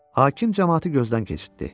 Hakim camaatı gözdən keçirtdi.